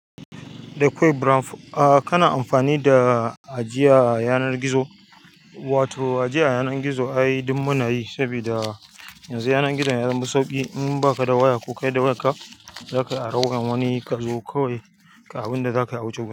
Da ƙwai brown, a kana amfani da ajiya a yanar gizo wato ajiya a yanar gizo ai ɗin munayi sabida yanzu yanar gizon ya zama sauƙi in baka da waya ko kai da wayarka zaka ari wayar wani kazo kawai ka abinda zaka yi a wuce wurin.